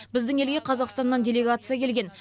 біздің елге қазақстаннан делегация келген